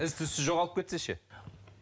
із түзсіз жоғалып кетсе ше